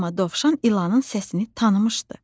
Amma dovşan ilanın səsini tanımışdı.